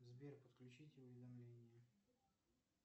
сбер подключить уведомления